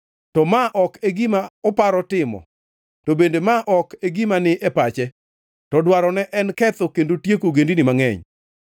To mae ok e gima oparo timo to bende ma ok e gima ni e pache; to dwarone en ketho kendo tieko ogendini mangʼeny.